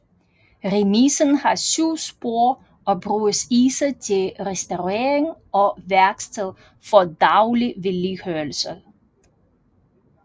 Remisen har syv spor og bruges især til restaurering og værksted for daglig vedligeholdelse